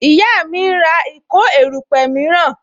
Ìyá mi ń ra ìkó erupe miran